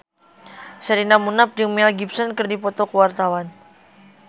Sherina Munaf jeung Mel Gibson keur dipoto ku wartawan